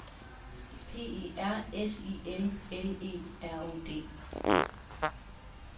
P E R S I L L E R O D